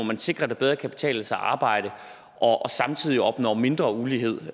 man sikrer at det bedre kan betale sig at arbejde og samtidig opnår mindre ulighed